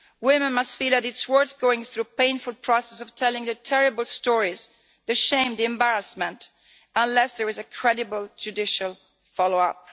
Women must feel that it is not worth going through the painful process of telling the terrible stories, the shame, the embarrassment unless there is a credible judicial follow up.